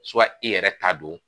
i yɛrɛ ta don.